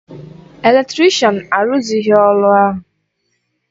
Eletrịshan arụzịghị ọrụ ahụ